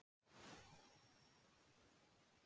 Unnar, hvað er opið lengi í Blómabúð Akureyrar?